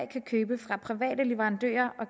kan købe fra private leverandører og